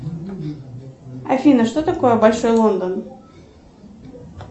афина что такое большой лондон